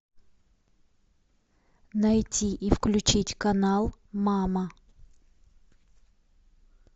найти и включить канал мама